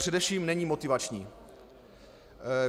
Především není motivační.